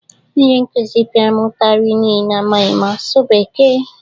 Onye nkụzi pịara m ụtarị n'ihi na amaghị asụ Bekee.